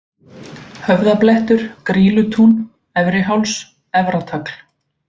Höfðablettur, Grýlutún, Efriháls, Efratagl